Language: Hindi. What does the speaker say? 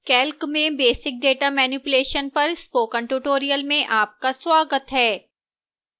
calc में basic data manipulation पर spoken tutorial में आपका स्वागत है